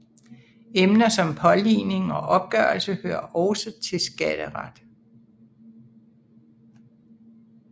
Emner som påligning og opgørelse hører også til skatteret